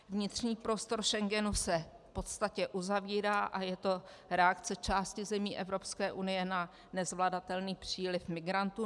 Vnitřní prostor Schengenu se v podstatě uzavírá a je to reakce části zemí Evropské unie na nezvladatelný příliv migrantů.